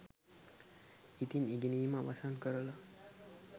ඉතින් ඉගෙනීම අවසන්කරලා